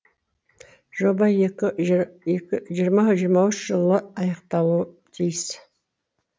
жоба жиырма жиырма үш жылы аяқталуы тиіс